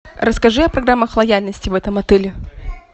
расскажи о программах лояльности в этом отеле